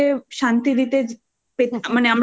কানটা কে শান্তি দিতে মানে আমরা পেতে চাই তাহলে